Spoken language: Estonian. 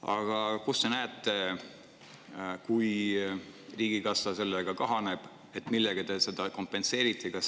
Aga kui riigikassa selle tõttu kahaneb, siis millega te seda kompenseerite?